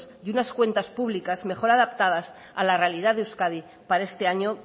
y unas cuentas públicas mejor adaptadas a la realidad de euskadi para este año